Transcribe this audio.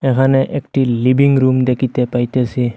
এখানে একটি living room দেখিতে পাইতেসি।